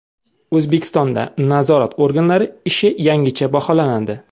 O‘zbekistonda nazorat organlari ishi yangicha baholanadi.